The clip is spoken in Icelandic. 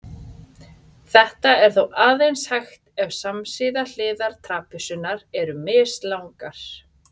Þetta er þó aðeins hægt ef samsíða hliðar trapisunnar eru mislangar.